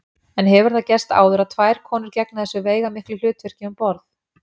En hefur það gerst áður að tvær konur gegna þessu veigamiklu hlutverkum um borð?